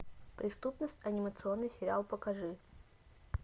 преступность анимационный сериал покажи